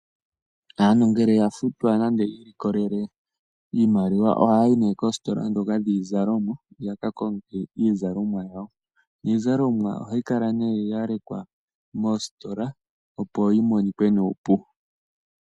Aantu ngele yafutwa nande yiilikolele iimaliwa ohaya yi ne koositola dhoka dhiizalomwa yakakonge iizalomwa yawo. Iizalomwa ohayikala ne yalekwa mositola opo yimonike nuupu.